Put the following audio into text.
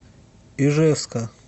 ижевска